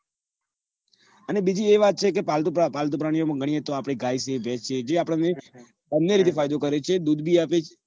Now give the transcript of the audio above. અને બીજી વાત છે કે છે કે પાલતુ પ્રા પાલતુ પ્રાણીઓ માં ગણીએ તો આપડે ગાય છે ભેંસ છે બંને રીતે ફાયદો કરે છે દૂધ બી આપે છે